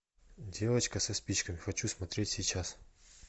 девочка со спичками хочу смотреть сейчас